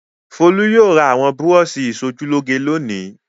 Folú yóò ra àwọn búrọ́ṣì ìṣojúlóge lónìí.